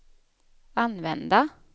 använda